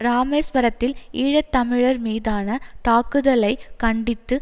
இராமேஸ்வரத்தில் ஈழ தமிழர் மீதான தாக்குதலை கண்டித்து